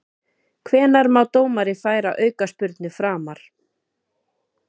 Hvenær má dómari færa aukaspyrnu framar?